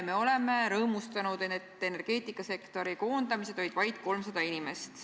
Me oleme rõõmustanud, et energeetikasektoris koondati vaid 300 inimest.